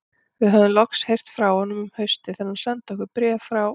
Við höfðum loks heyrt frá honum um haustið þegar hann sendi okkur bréf frá